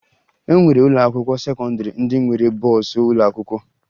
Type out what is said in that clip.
E nwere ụlọakwụkwọ sekọndịrị ndị nwere bọọsụ ụlọakwụkwọ